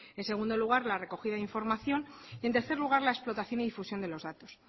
en segundo lugar la recogida de información y en tercer lugar la explotación y difusión de los datos